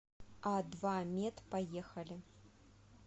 адвамед поехали